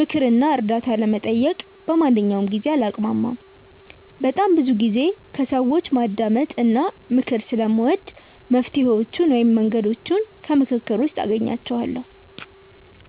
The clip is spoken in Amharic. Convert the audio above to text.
ምክር እና እርዳታ ለመጠየቅ በማንኛውም ጊዜ አላቅማማም። በጣም ብዙ ጊዜ ከሰዎች ማዳመጥ እና ምክር ስለምወድ መፍትሔዎቹን ወይም መንገዶቹን ከምክክር ውስጥ አገኛቸዋለሁ።